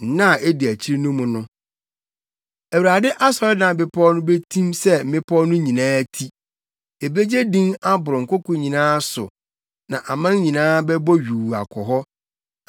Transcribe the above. Nna a edi akyi no mu no, Awurade asɔredan bepɔw no betim sɛ mmepɔw no nyinaa ti; ebegye din aboro nkoko nyinaa so na aman nyinaa bɛbɔ yuu akɔ hɔ.